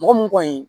Mɔgɔ mun kɔni